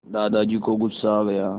दादाजी को गुस्सा आ गया